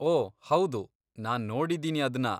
ಓ ಹೌದು! ನಾನ್ ನೋಡಿದೀನಿ ಅದ್ನ.